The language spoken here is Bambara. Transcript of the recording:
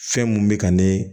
Fɛn mun bɛ ka ne